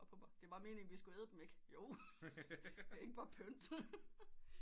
Op på mig det var meningen vi skulle æde dem ikke jo det er ikke bare pynt